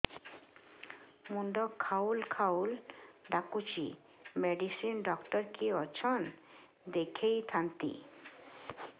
ମୁଣ୍ଡ ଖାଉଲ୍ ଖାଉଲ୍ ଡାକୁଚି ମେଡିସିନ ଡାକ୍ତର କିଏ ଅଛନ୍ ଦେଖେଇ ଥାନ୍ତି